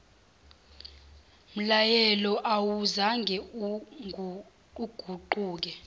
mlayelo awuzange uguquke